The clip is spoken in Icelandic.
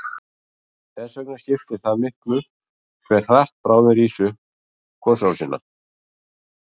Þess vegna skiptir það miklu hve hratt bráðin rís upp gosrásina.